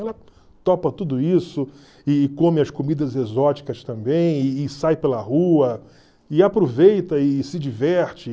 Ela topa tudo isso e come as comidas exóticas também e e sai pela rua e aproveita e se diverte.